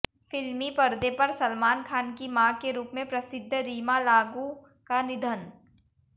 फिल्मी पर्दे पर सलमान खान की मां के रूप में प्रसिद्ध रीमा लागू का निधन